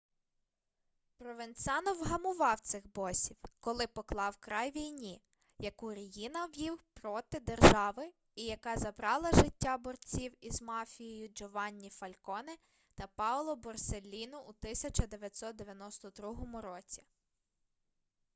провенцано вгамував цих босів коли поклав край війні яку ріїна вів проти держави і яка забрала життя борців із мафією джованні фальконе та паоло борселліно у 1992 році